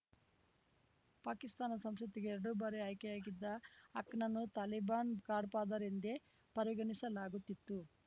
ಪಾಕಿಸ್ತಾನ ಸಂಸತ್ತಿಗೆ ಎರಡು ಬಾರಿ ಆಯ್ಕೆಯಾಗಿದ್ದ ಹಕ್‌ನನ್ನು ತಾಲಿಬಾನ್‌ ಗಾಡ್‌ಫಾದರ್ ಎಂದೇ ಪರಿಗಣಿಸಲಾಗುತ್ತಿತ್ತು